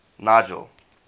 nigel